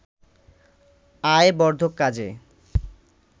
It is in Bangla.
আয় বর্ধক কাজে